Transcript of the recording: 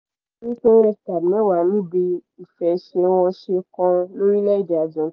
pín redcard mẹ́wàá níbi ìfẹsẹ̀wọnsẹ̀ kan lórílẹ̀‐èdè argen